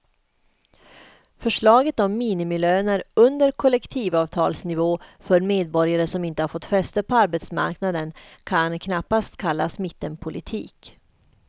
Förslaget om minimilöner under kollektivavtalsnivå för medborgare som inte har fått fäste på arbetsmarknaden kan knappast kallas mittenpolitik.